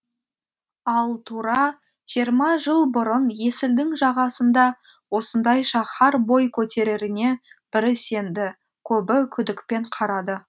ал тура жиырма жыл бұрын есілдің жағасында осындай шаһар бой көтереріне бірі сенді көбі күдікпен қарады